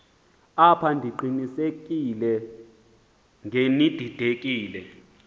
apha ndiqinisekile ngenididekile